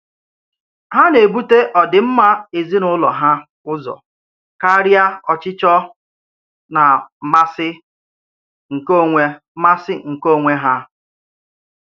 Há na-èbùtè ọ̀dìm̀mà èzìnàúlò há ụ̀zọ̀ karià ọ̀chịchọ nà màsị̀ nke ọ̀nwè màsị̀ nke ọ̀nwè há.